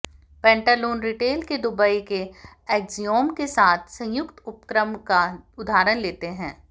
Pantaloons retail के Dubai के Axiom के साथ संयुक्त उपक्रम का उदाहरण लेते हैं